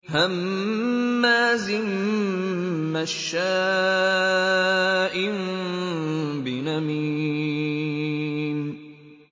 هَمَّازٍ مَّشَّاءٍ بِنَمِيمٍ